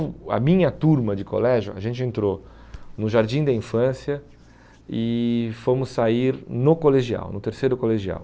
o a minha turma de colégio, a gente entrou no Jardim da Infância e fomos sair no colegial no terceiro colegial.